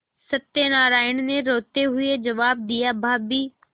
सत्यनाराण ने रोते हुए जवाब दियाभाभी